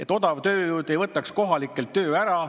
Et odav tööjõud ei võtaks kohalikelt tööd ära.